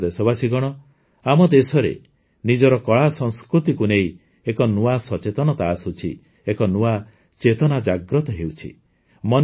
ମୋର ପ୍ରିୟ ଦେଶବାସୀଗଣ ଆମ ଦେଶରେ ନିଜର କଳାସଂସ୍କୃତିକୁ ନେଇ ଏକ ନୂଆ ସଚେତନତା ଆସୁଛି ଏକ ନୂଆ ଚେତନା ଜାଗ୍ରତ ହେଉଛି